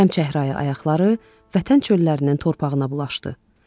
Çəmçəhrayı ayaqları vətən çöllərinin torpağına bulaşdı.